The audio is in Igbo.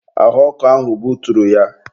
ahụ ọkụ ahụ buturu ya.